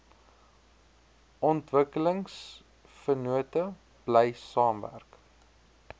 ontwikkelingsvennote bly saamwerk